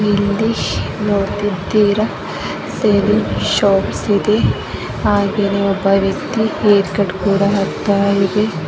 ಇಲ್ಲಿ ನೋಡುತ್ತಿದ್ದೀರಾ shaving shop ಇದೆ ಹಾಗೆ ಒಬ್ಬ ವ್ಯಕ್ತಿ ಹೇರ್ ಕಟ್ ಕೂಡ ಆಗುತ್ತಾ ಇದೆ.